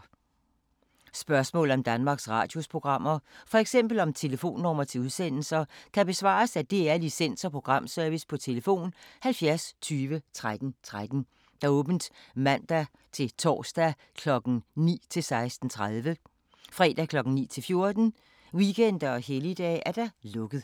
Spørgsmål om Danmarks Radios programmer, f.eks. om telefonnumre til udsendelser, kan besvares af DR Licens- og Programservice: tlf. 70 20 13 13, åbent mandag-torsdag 9.00-16.30, fredag 9.00-14.00, weekender og helligdage: lukket.